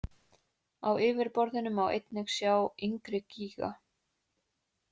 Á yfirborðinu má einnig sjá yngri gíga.